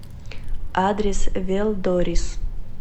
адрес велдорис